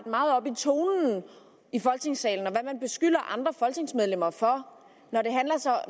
meget op i tonen i folketingssalen og hvad man beskylder andre folketingsmedlemmer for